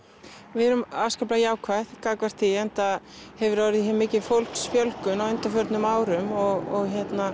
við erum afskaplega jákvæð gagnvart því enda hefur hér orðið mikil fjólksfjölgun á undanförnum árum og